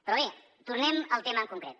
però bé tornem al tema en concret